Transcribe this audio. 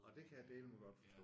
Og det kan jeg dæleme godt forstå!